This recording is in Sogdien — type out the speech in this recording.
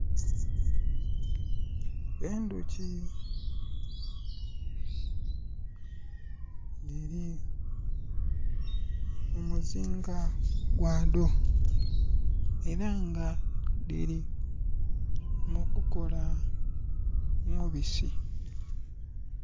Endhoki dhili mu muzinga gwadho. Era nga dhili mu kukola mubisi.